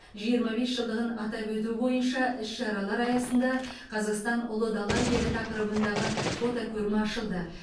жиырма бес жылдығын атап өту бойынша іс шаралар аясында қазақстан ұлы дала елі тақырыбындағы фотокөрме ашылды